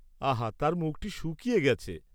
আহা তাঁর মুখটি শুকিয়ে গেছে।